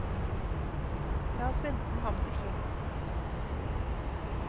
La oss vente med ham til slutt.